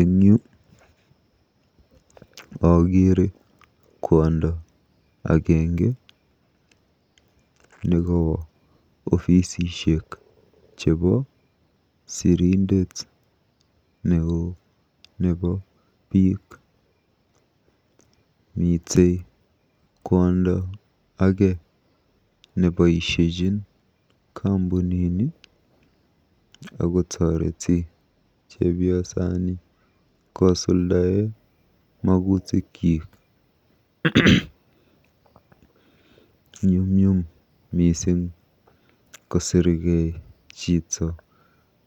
Eng yu akeere kwondo agenge nekowo ofisishek chebo sirindet neoo nebo biik. Mitei kwondo age neboisiechin kampunini akotoreti chepiosani kosuldae magutikyik. Nyumnyum mising kosirkei biik